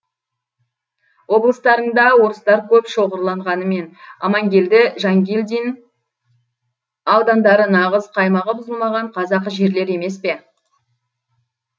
облыстарыңда орыстар көп шоғырланғанымен амангелді жангелдин аудандары нағыз қаймағы бұзылмаған қазақы жерлер емес пе